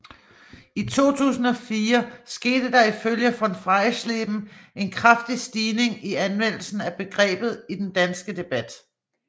I 2004 skete der ifølge von Freiesleben en kraftig stigning i anvendelsen af begrebet i den danske debat